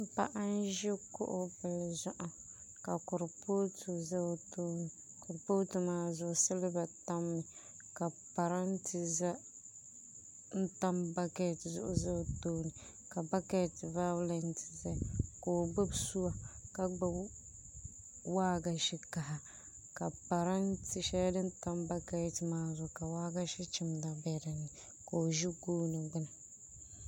Paɣa n ʒi kuɣu bili zuɣu ka kuripooti ʒɛ o tooni kuripooti maa zuɣu silba tammi ka parantɛ ʒɛ n tam bakɛt zuɣu ʒɛ o tooni ka bakɛt vaaulɛt ʒɛya ka o gbubi suwa ka gbubi waagashe kaha ka parantɛ shɛli din tam bakɛt maa zuɣu ka waagashe chimda bɛ dinni ka o ʒi gooni gbuni